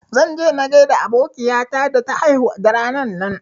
Zan je na gaida abokiya ta da ta haihu da ranan nan